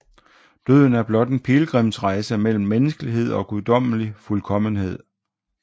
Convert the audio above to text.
Døden er blot en pilgrimsrejse mellem menneskelighed og guddommelig fuldkommenhed